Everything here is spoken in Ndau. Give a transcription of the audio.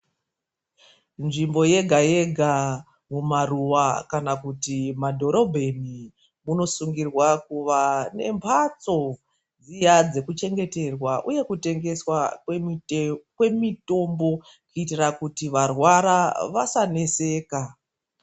Nzvimbo yega-yega mumaruwa kana kuti mumadhorobheni munosungirwa kuva nemhatso dziya dzekuchengeterwa, uye kutengeswa kwemitombo kuitira kuti varwara vasaneseka.